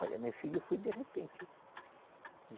Olha, meu filho foi de repente.